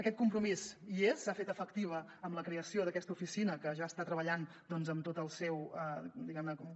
aquest compromís hi és s’ha fet efectiu amb la creació d’aquesta oficina que ja està treballant amb tot el seu diguem ne